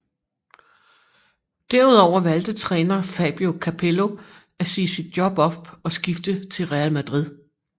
Derudover valgte træner Fabio Capello at sige sit job op og skifte til Real Madrid